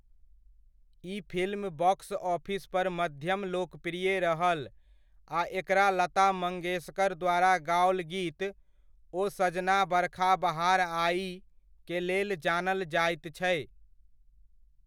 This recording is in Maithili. ई फिल्म बॉक्स ऑफिस पर मध्यम लोकप्रिय रहल आ एकरा लता मंगेशकर द्वारा गाओल गीत 'ओ सजना बरखा बहार आई' के लेल जानल जाइत छै।